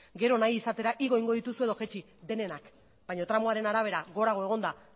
gero nahi izatera igo egingo dituzue edo jeitsi denenak baina tramoaren arabera gorago egonda